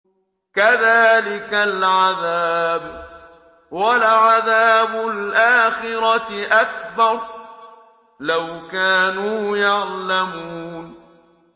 كَذَٰلِكَ الْعَذَابُ ۖ وَلَعَذَابُ الْآخِرَةِ أَكْبَرُ ۚ لَوْ كَانُوا يَعْلَمُونَ